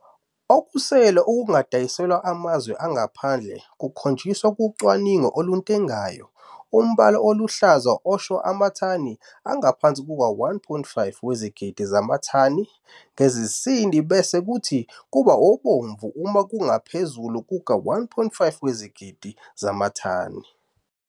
Okusele okungadayiselwe amazwe angaphandle kukhonjiswe kucwaningo olutengayo umbala oluhlaza usho amathani engaphansi kuka-1,5 wezigidi zamathani ngesizini bese kuthi kuba obomvu uma kungaphezulu kuka-1,5 wezigidi zamathani.